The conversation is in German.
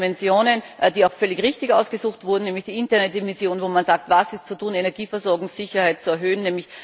Zwei Dimensionen, die auch völlig richtig ausgesucht wurden, nämlich die Internetdimension, wo man sagt Was ist zu tun, um Energieversorgungssicherheit zu erhöhen?